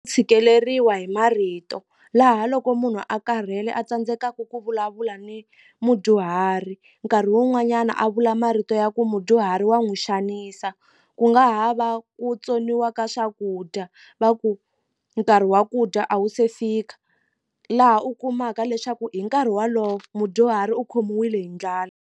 Tshikeleriwa hi marito laha loko munhu a karhele a tsandzekaku ku vulavula ni mudyuhari nkarhi wun'wanyana a vula marito ya ku mudyuhari wa n'wi xanisa ku nga ha va ku tsoniwa ka swakudya va ku nkarhi wa ku dya a wu se fika laha u kumaka leswaku hi nkarhi walowo mudyuhari u khomiwile hi ndlala.